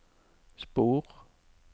spor